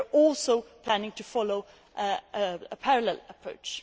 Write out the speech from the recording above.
We are also planning to follow a parallel approach.